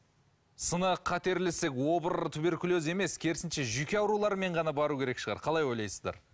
сынық қатерлі ісік обыр туберкулез емес керісінше жүйке ауруларымен ғана бару керек шығар қалай ойлайсыздар